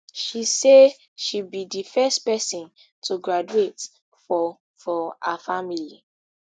she say she be di first pesin to graduate for for her family